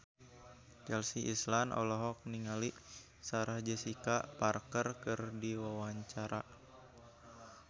Chelsea Islan olohok ningali Sarah Jessica Parker keur diwawancara